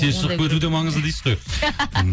тез шығып кету де маңызды дейсіз ғой